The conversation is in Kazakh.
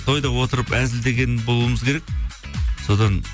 тойда отырып әзілдеген болуымыз керек содан